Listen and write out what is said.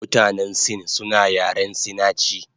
Mutanen sin suna yaren sinachi